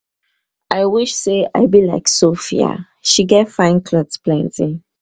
i wish say um i be like sophia she get fine cloth plenty.